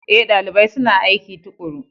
Ee, dalibai suna aiki tuƙuru.